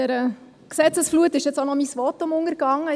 In dieser Gesetzesflut ist auch noch mein Votum untergegangen.